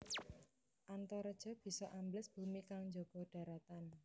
Antareja bisa ambles bumi kang njaga dharatan